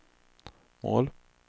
mål